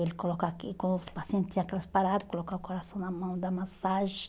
Ele coloca aqui, quando os pacientes tinha aquelas paradas, colocava o coração na mão, dá massagem.